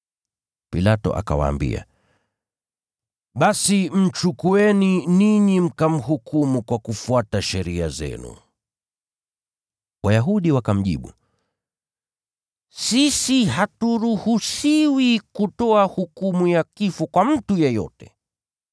Pilato akawaambia, “Basi mchukueni ninyi mkamhukumu kwa kufuata sheria zenu.” Wayahudi wakamjibu, “Sisi haturuhusiwi kutoa hukumu ya kifo kwa mtu yeyote.”